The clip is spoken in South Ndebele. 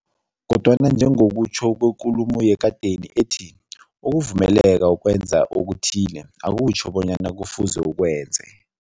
Kodwana njengokutjho kwekulumo yekadeni ethi, ukuvumeleka ukwenza okuthile, akutjho bonyana kufuze ukwenze.